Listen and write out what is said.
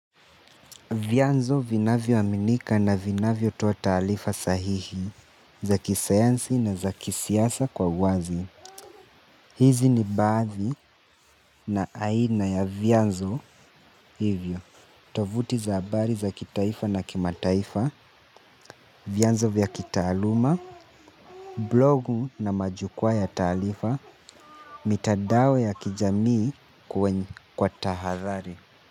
Vyanzo vinavyo aminika na vinavyo toa taalifa sahihi za kisayansi na za kisiasa kwa uwazi. Hizi ni baathi na aina ya vyanzo hivyo. Tovuti za abari za kitaifa na kimataifa, vyanzo vya kitaaluma, blogu na majukwaa ya taalifa, mitadao ya kijamii kwenye kwa tahadhari.